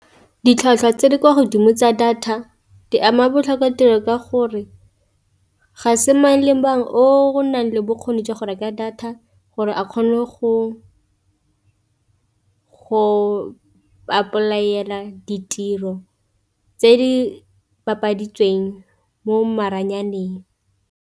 Ditlhwatlhwa tse di kwa godimo tsa data di ama botlhokwa tiro ka gore ga se mang le bangwe o nang le bokgoni jwa go reka data, gore a kgone go a apply-ela ditiro tse di bapaditsweng mo maranyaneng.